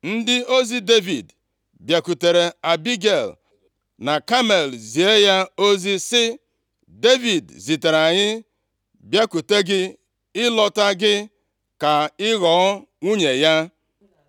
Ndị ozi Devid bịakwutere Abigel na Kamel zie ya ozi sị, “Devid zitere anyị bịakwute gị ịlụta gị ka ị ghọọ nwunye ya.”